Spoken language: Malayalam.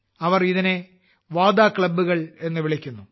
അവർ ഇതിനെ വട ക്ലബ്ബുകൾ എന്ന് വിളിക്കുന്നു